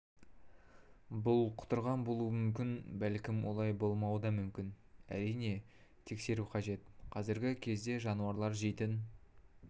бұл құтырған болуы мүмкін бәлкім олай болмауы да мүмкін әрине тексеру қажет қазіргі кезде жануарлар жейтін